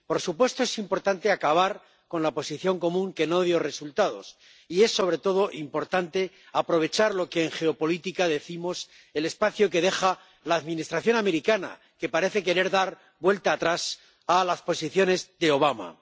Por supuesto, es importante acabar con la Posición Común, que no dio resultados, y es sobre todo importante aprovechar lo que en geopolítica llamamos el espacio que deja la Administración americana, que parece querer dar vuelta atrás a las posiciones de Obama.